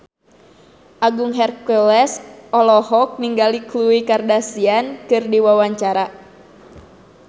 Agung Hercules olohok ningali Khloe Kardashian keur diwawancara